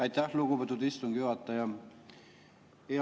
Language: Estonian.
Aitäh, lugupeetud istungi juhataja!